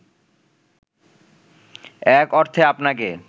এক অর্থে আপনাকে